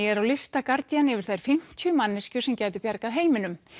er á lista Guardian yfir þær fimmtíu manneskjur sem gætu bjargað heiminum